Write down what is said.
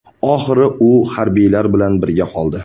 Oxiri u harbiylar bilan birga qoldi.